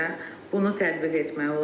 Bunu tətbiq etmək olar.